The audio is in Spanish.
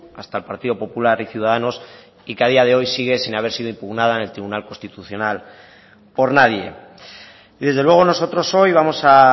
hasta el partido popular y ciudadanos y que a día de hoy sigue sin haber sido impugnada en el tribunal constitucional por nadie y desde luego nosotros hoy vamos a